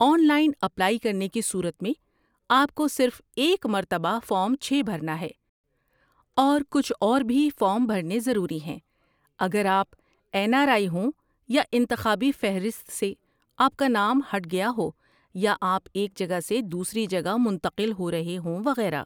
on line apply کرنے کی صورت میں آپ کو صرف ایک مرتبہ فارم چھے بھرنا ہے اور کچھ اور بھی فارم بھرنے ضروری ہیں اگر آپ این آر آئی ہوں یا انتخابی فہرست سے آپ کا نام ہٹ گیا ہو یا آپ ایک جگہ سے دوسری جگہ منتقل ہو رہے ہوں وغیرہ